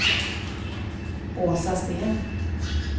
Åsa Sten